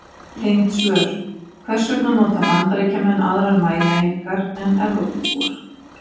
Tengd svör: Hvers vegna nota Bandaríkjamenn aðrar mælieiningar en Evrópubúar?